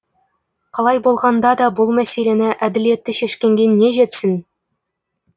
қалай болғанда да бұл мәселені әділетті шешкенге не жетсін